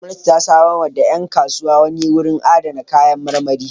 Gwamnati ta samarwa da ƴan kasuwa wani wurin adana kayan marmari.